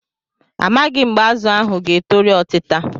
A maghị m mgbe azụ ahụ ga-etoru otita.